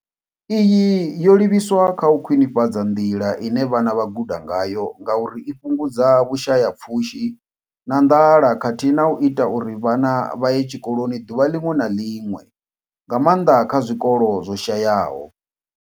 Iyi yo livhiswa kha u khwinifhadza nḓila ine vhana vha guda ngayo ngauri i fhungudza vhushayapfushi na nḓala khathihi na u ita uri vhana vha ye tshikoloni ḓuvha ḽiṅwe na ḽiṅwe, nga maanḓa kha zwikolo zwo shayaho.